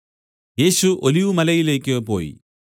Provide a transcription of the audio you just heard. യേശു ഒലിവുമലയിലേക്ക് പോയി